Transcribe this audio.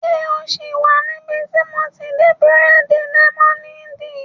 Ṣé o sì wà níbi tí mo ti n di bírèèdì lẹ́mọ́néèdì?